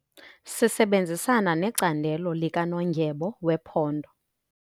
Sisebenzisana necandelo likanondyebo wephondo.